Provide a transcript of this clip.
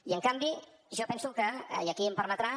i en canvi jo penso que i aquí em permetrà